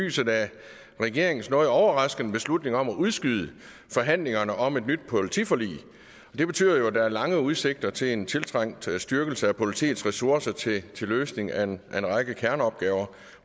lyset af regeringens noget overraskende beslutning om at udskyde forhandlingerne om et nyt politiforlig det betyder jo at der er lange udsigter til en tiltrængt styrkelse af politiets ressourcer til løsning af en en række kerneopgaver